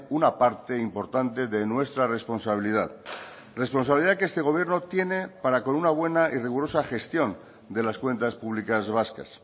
una parte importante de nuestra responsabilidad responsabilidad que este gobierno tiene para con una buena y rigurosa gestión de las cuentas públicas vascas